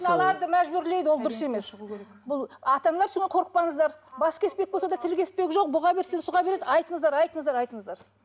мәжбүрлейді ол дұрыс емес бұл ата аналар қорықпаңыздар бас кеспек болса да тіл кеспек жоқ бұға берсең сұға береді айтыңыздар айтыңыздар айтыңыздар